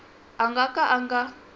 a nga ka a nga